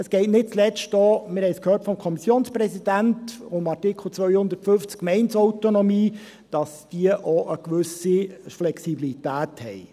Es geht nicht zuletzt auch – wir haben es vom Kommissionspräsidenten gehört – um den Artikel 250 Gemeindeautonomie, damit die Gemeinden auch eine gewisse Flexibilität haben.